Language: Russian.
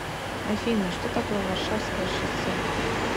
афина что такое варшавское шоссе